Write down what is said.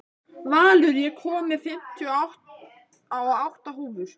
Valur, ég kom með fimmtíu og átta húfur!